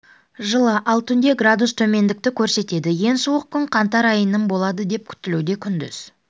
жылы ал түнде градус төмендікті көрсетеді ең суық күн қаңтар айының болады деп күтілуде күндіз